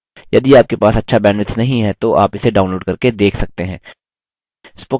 यदि आपके पास अच्छा bandwidth नहीं है तो आप इसे download करके देख सकते हैं